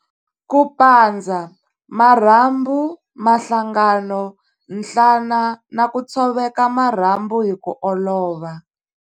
Ku pandza- Marhambu, mahlangano, nhlana na ku tshoveka marhambu hi ku olova.